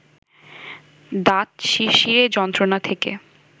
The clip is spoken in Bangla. দাঁত শিরশিরের যন্ত্রণা থেকে